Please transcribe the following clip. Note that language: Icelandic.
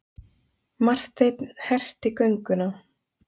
Marteinn herti gönguna.